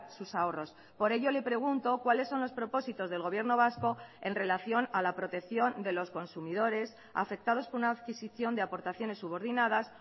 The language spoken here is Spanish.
sus ahorros por ello le pregunto cuáles son los propósitos del gobierno vasco en relación a la protección de los consumidores afectados por una adquisición de aportaciones subordinadas